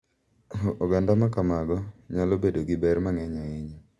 Oganda ma kamago nyalo bedo gi ber mang’eny ahinya,